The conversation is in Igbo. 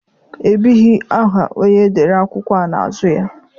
Ebighị aha onye dere akwụkwọ a n'azụ ya.